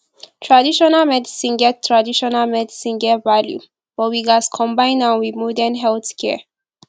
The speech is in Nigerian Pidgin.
traditional medicine get traditional medicine get value but we gats combine am with modern healthcare